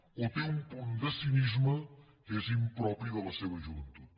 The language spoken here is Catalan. o té un punt de cinisme que és impropi de la seva joventut